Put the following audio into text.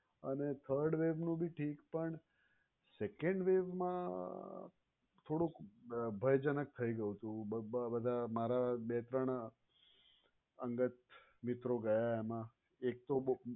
અને third wave નું પણ ઠીક પણ second wave માં થોડુંક ભયજનક થઇ ગયું હતું બધાં મારાં બે ત્રણ અંગત મિત્રો ગયા એમાં એક તો બહુ